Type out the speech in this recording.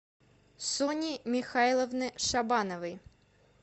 сони михайловны шабановой